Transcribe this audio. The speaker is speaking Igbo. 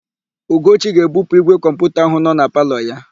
Ugochi ga-ebupu ígwè kọmputa áhụ̀ nọ na palọ ya.